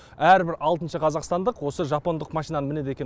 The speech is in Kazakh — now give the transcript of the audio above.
әрбір алтыншы қазақстандық осы жапондық машинаны мінеді екен